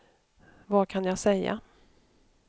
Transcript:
vad kan jag säga